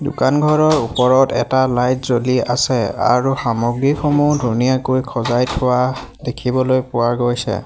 দোকানঘৰৰ ওপৰত এটা লাইট জ্বলি আছে আৰু সামগ্ৰীসমূহ ধুনীয়াকৈ খজাই থোৱা দেখিবলৈ পোৱা গৈছে।